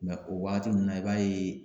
Mɛ o wagati ninnu na i b'a ye